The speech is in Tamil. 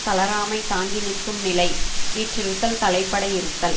தளராமைத் தாங்கி நிற்கும் நிலை வீற்றிருத்தல் தலைப்பட இருத்தல்